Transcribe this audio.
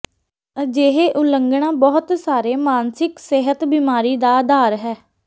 ਅਜਿਹੇ ਉਲੰਘਣਾ ਬਹੁਤ ਸਾਰੇ ਮਾਨਸਿਕ ਸਿਹਤ ਬੀਮਾਰੀ ਦਾ ਆਧਾਰ ਹੈ